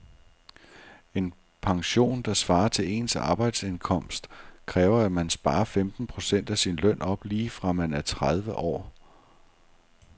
En pension, der svarer til ens arbejdsindkomst, kræver at man sparer femten procent af sin løn op lige fra man er tredive år.